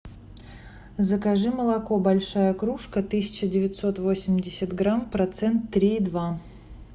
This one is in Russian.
закажи молоко большая кружка тысяча девятьсот восемьдесят грамм процент три и два